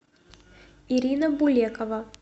ирина булекова